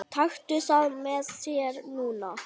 Taktu það með þér núna!